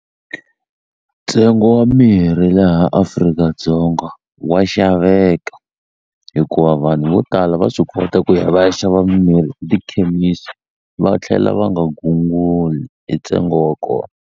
Ntsengo wa mirhi laha Afrika-Dzonga wa xaveka hikuva vanhu vo tala va swi kota ku ya va ya xava mirhi etikhemisi va tlhela va nga gunguli hi ntsengo wa kona.